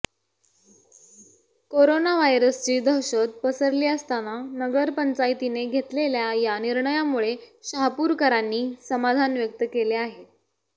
corona व्हायरसची दहशत पसरली असताना नगरपंचायतीने घेतलेल्या या निर्णयामुळे शहापुरकरांनी समाधान व्यक्त केले आहे